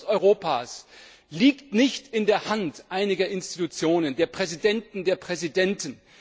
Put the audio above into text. Die Zukunft Europas liegt nicht in der Hand einiger Institutionen, der Präsidenten der Präsidenten.